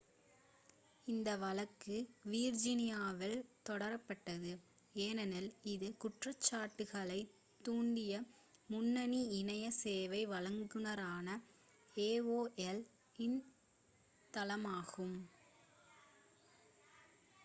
இந்த வழக்கு விர்ஜீனியாவில் தொடரப்பட்டது ஏனெனில் இது குற்றச்சாட்டுகளைத் தூண்டிய முன்னணி இணைய சேவை வழங்குநரான aol இன் தளமாகும்